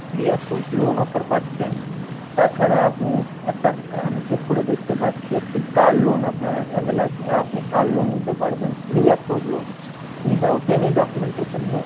pre-approved loan offer পাচ্ছেন তা ছারা আপনি একটা আমি check করে দেখতে পাচ্ছি একটি car loan আপনার avail আছে আপনি car loan নিতে পারবেন pre-approve loan without any documentation